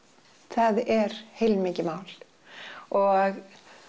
það er heilmikið mál og